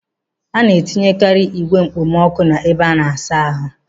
Ana etinyekari igwe okpomọkụ n'ebe ịsa ahụ.